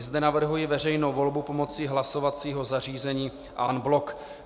I zde navrhuji veřejnou volbu pomocí hlasovacího zařízení en bloc.